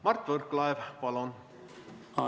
Mart Võrklaev, palun!